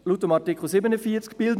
In Artikel 47 steht: «[